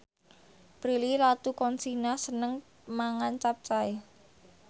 Prilly Latuconsina seneng mangan capcay